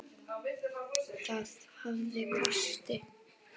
Það hafði kosti.